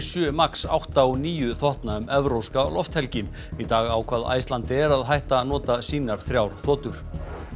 sjö max átta og níu þotna um evrópska lofthelgi í dag ákvað Icelandair að hætta að nota sínar þrjár þotur